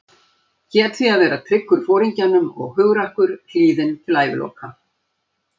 Hét því að vera tryggur Foringjanum og hugrakkur, hlýðinn til æviloka.